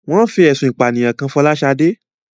Wón fi ẹ̀sùn ìpànìyàn kan Fọláṣadé